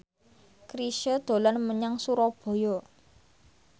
Chrisye dolan menyang Surabaya